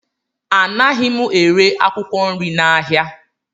Anaghị m ere akwụkwọ nri n'ahịa.